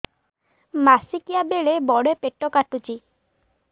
ମାସିକିଆ ବେଳେ ବଡେ ପେଟ କାଟୁଚି